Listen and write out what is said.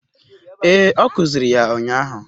Ee, ọ kuziri ya ụnyahụ